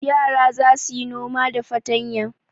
Yara za su yi noma da fatanya.